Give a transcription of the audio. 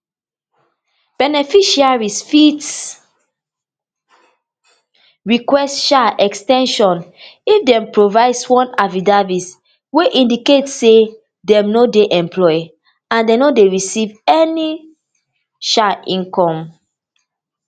beneficiaries fit request um ex ten sion if dem provide sworn affidavit wey indicate say dem no dey employed and dem no dey receive any um income